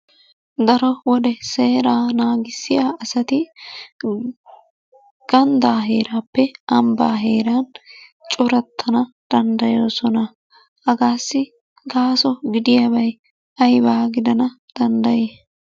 Daro wode seeraa naagissiya asati gandaa heeraappe ambaa heeran corattana dandayoosona. Hagaassi gaaso gidiyaabay ayibaa gidana dandayi?